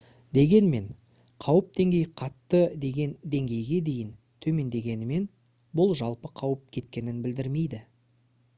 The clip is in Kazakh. дегенмен қауіп деңгейі қатты деген деңгейге дейін төмендегенімен бұл жалпы қауіп кеткенін білдірмейді»